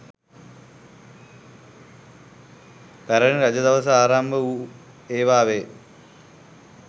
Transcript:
පැරැණි රජ දවස ආරම්භ වූ ඒවා වේ.